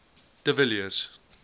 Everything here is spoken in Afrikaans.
de villiers